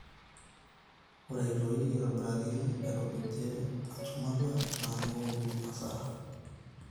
ore aitoi aitobiraki, airopijie woo enchumata naa keworu hasara